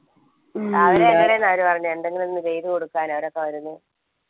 രാവിലെ വരൂന്ന അവര് പറഞ്ഞേ എന്തെങ്ങൊന്നു ചെയ്തൊടുക്കാൻ